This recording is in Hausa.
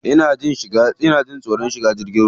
Ina jin tsoron shiga jirgin ruwa.